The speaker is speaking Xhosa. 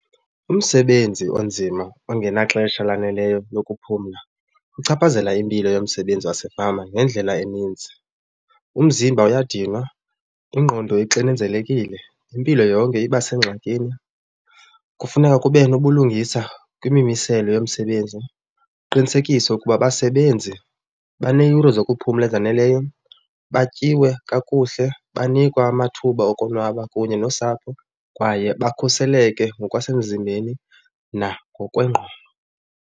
Umsebenzi onzima ongenaxesha laneleyo lokuphumla uchaphazela impilo yomsebenzi wasefama ngendlela eninzi. Umzimba uyadinwa, ingqondo ixinezelekile, impilo yonke iba sengxakini. Kufuneka kube nobulungisa kwimimiselo yomsebenzi, kuqinisekiswe ukuba abasebenzi baneeyure zokuphumla ezaneleyo, batyiwe kakuhle, banikwa amathuba okonwaba kunye nosapho kwaye bakhuseleke ngokwasemzimbeni nangokwengqondo.